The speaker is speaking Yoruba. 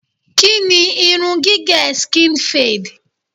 Kí ni irun gígẹ̀ skin fade?